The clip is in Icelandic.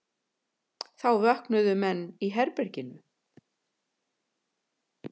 Þá vöknuðu menn í herberginu.